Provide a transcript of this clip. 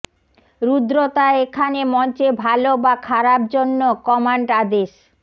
রুদ্রতা এখানে মঞ্চে ভাল বা খারাপ জন্য কমান্ড আদেশ